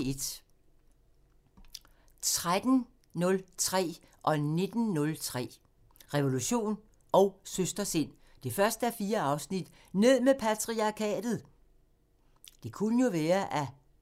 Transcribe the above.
13:03: Revolution & Søstersind 1:4 – Ned med patriarkatet! 19:03: Revolution &